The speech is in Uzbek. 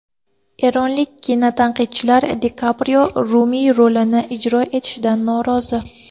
Eronlik kinotanqidchilar Di Kaprio Rumiy rolini ijro etishidan norozi.